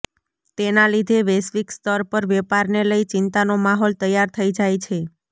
તેના લીધે વૈશ્વિક સ્તર પર વેપારને લઇ ચિંતાનો માહોલ તૈયાર થઇ જાય છે